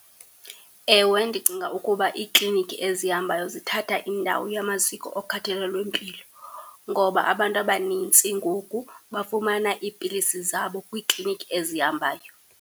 Ewe ndicinga ukuba iiklinikhi ezihambayo zithatha indawo yamaziko okhathalelompilo, ngoba abantu abanintsi ngoku bafumana iipilisi zabo kwiiklinikhi ezihambayo.